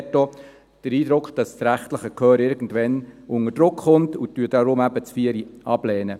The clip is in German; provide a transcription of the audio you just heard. Wir haben dort auch den Eindruck, dass das rechtliche Gehör irgendwann unter Druck kommt, und lehnen deshalb die Planungserklärung 4 ab.